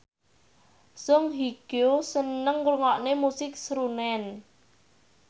Song Hye Kyo seneng ngrungokne musik srunen